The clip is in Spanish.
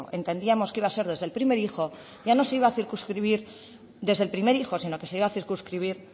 entendíamos que iba a ser desde el primer hijo ya no se iba a circunscribir desde el primer hijo sino que se iba a circunscribir